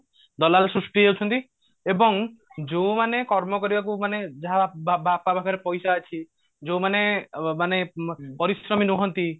ଦଲାଲ ସୃଷ୍ଟି ହେଇ ଯାଉଛନ୍ତି ଏବଂ ଯୋଉମାନେ କର୍ମ କରିବାକୁ ମାନେ ଯାହା ବା ବାପା ପାଖରେ ପଇସା ଅଛି ଯୋଉମାନେ ମାନେ ପରିଶ୍ରମୀ ନୁହନ୍ତି